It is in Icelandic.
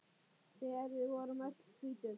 Þegar við vorum öll tvítug.